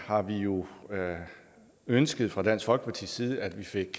har vi jo ønsket fra dansk folkepartis side at vi fik